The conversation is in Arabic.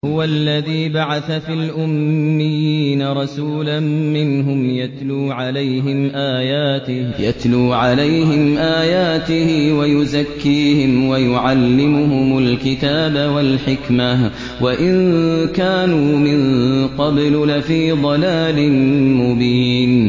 هُوَ الَّذِي بَعَثَ فِي الْأُمِّيِّينَ رَسُولًا مِّنْهُمْ يَتْلُو عَلَيْهِمْ آيَاتِهِ وَيُزَكِّيهِمْ وَيُعَلِّمُهُمُ الْكِتَابَ وَالْحِكْمَةَ وَإِن كَانُوا مِن قَبْلُ لَفِي ضَلَالٍ مُّبِينٍ